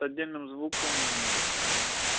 с отдельным звуком нету к сожалению